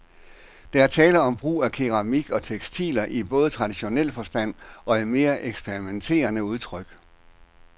Der er tale om brug af keramik og tekstiler i både traditionel forstand og i mere eksperimenterende udtryk.